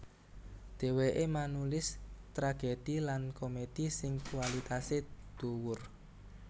Dhèwèké manulis tragedhi lan komedhi sing kwalitasé dhuwur